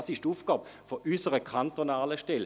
Dies ist die Aufgabe unserer kantonalen Stelle.